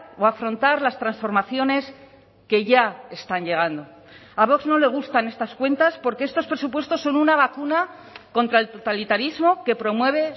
o afrontar las transformaciones que ya están llegando a vox no le gustan estas cuentas porque estos presupuestos son una vacuna contra el totalitarismo que promueve